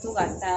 To ka taa